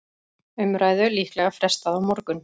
Umræðu líklega frestað á morgun